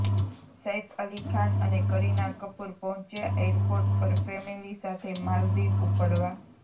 સૈફ અલી ખાન અને કરિના કપૂર પહોંચ્યા એરપોર્ટ પર ફેમિલિ સાથે માલદિવ ઉપડવા